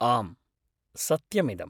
आम्, सत्यमिदम्।